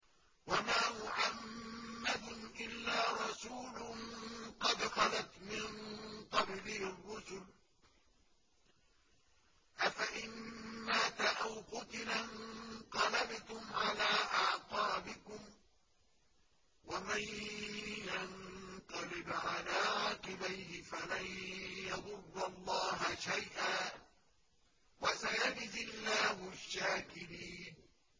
وَمَا مُحَمَّدٌ إِلَّا رَسُولٌ قَدْ خَلَتْ مِن قَبْلِهِ الرُّسُلُ ۚ أَفَإِن مَّاتَ أَوْ قُتِلَ انقَلَبْتُمْ عَلَىٰ أَعْقَابِكُمْ ۚ وَمَن يَنقَلِبْ عَلَىٰ عَقِبَيْهِ فَلَن يَضُرَّ اللَّهَ شَيْئًا ۗ وَسَيَجْزِي اللَّهُ الشَّاكِرِينَ